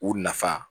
U nafa